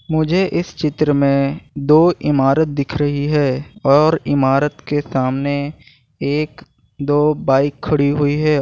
मुझे इस चित्र में दो इमारत दिख रही है और इमारत के सामने एक दो बाइक खड़ी हुई है।